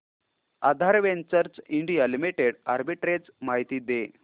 आधार ventures India limited arbitrage माहिती दे